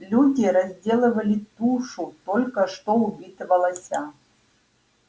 люди разделывали тушу только что убитого лося